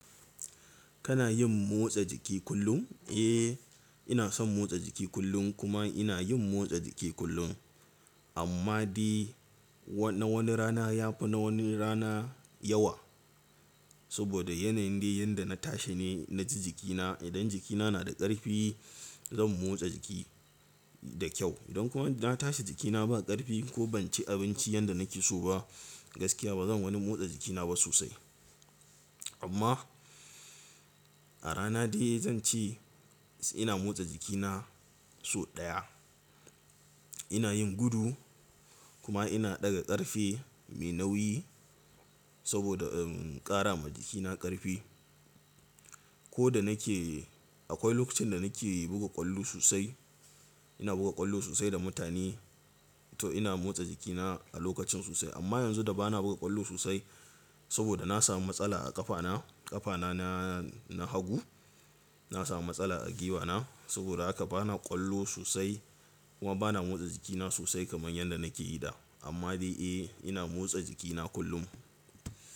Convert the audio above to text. Kana yin motsa jiki kullum? Eh, ina son motsa jiki kullum kuma ina yin motsa jiki kullum. Amma dai na wani rana ya fi na wani rana yawa. Saboda yanayin dai yanda na tashi ne naji jikina. Idan jikina na da ƙarfi, zan motsa jiki da kyau. Idan kuma na tashi jikina ba ƙarfi ko ban ci abinci yanda nake so ba gaskiya ba zan wani motsa jikina ba sosai. Amma, a rana dai zan ce ina motsa jikina sau ɗaya. Ina yin gudu kuma ina ɗaga ƙarfe mai nauyi saboda ƙara ma jikina ƙarfi. Ko da nake akwai lokacin da nake buga ƙwallo sosai. Ina buga ƙwallo sosai da mutane to ina motsa jikina a lokacin sosai. Amma yanzu da ba na buga ƙwallo sosai saboda na sami matsala a ƙafana. Ƙafana na, na hagu. Na sami matsala a giwa na. Saboda haka ba na ƙwallo sosai kuma ba na motsa jikina sosai kamar yadda nake yi da. Amma dai eh ina motsa jikina kullum.